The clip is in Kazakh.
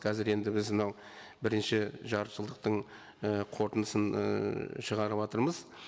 қазір енді біз мынау бірінші жартыжылдықтың і қорытындысын ыыы шығарыватырмыз